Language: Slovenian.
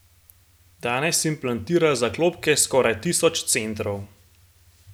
Danes implantira zaklopke skoraj tisoč centrov.